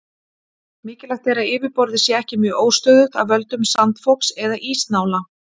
mikilvægt er að yfirborðið sé ekki mjög óstöðugt af völdum sandfoks eða ísnála